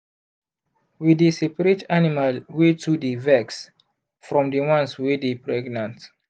we dey seperate animal wey too dy vex from the ones wey dey pregnant